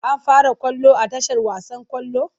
An fara ƙwallon a tashar wasan ƙwallon?